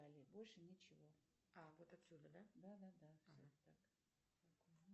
так разворачивайтесь нет нет нет нет поставьте стул